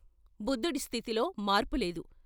బుద్ధుడి స్థితిలో మార్పులేదు.